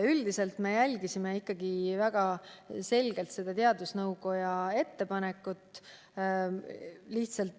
Üldiselt me järgisime ikkagi väga selgelt teadusnõukoja ettepanekut.